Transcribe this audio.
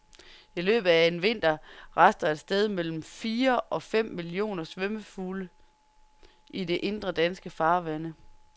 I løbet af en vinter raster et sted mellem fire og fem millioner svømmefugle i de indre danske farvande.